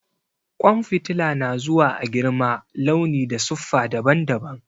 Ƙwan fitila na zuwa a girma, launi da siffa daban-daban.